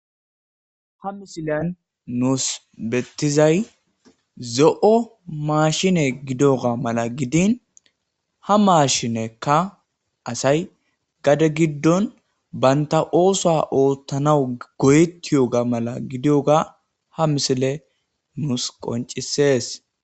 Ha missiliyan nussi bettizay zo'o mashshin giddigga malla gidin ha mashshinekka assay gade gidon assay bantta oosuwa ootanaw goyetiyogga malla gidiyogga ha missiley nussi qoncissees